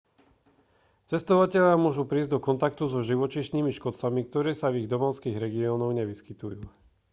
cestovatelia môžu prísť do kontaktu so živočíšnymi škodcami ktorí sa v ich domovských regiónoch nevyskytujú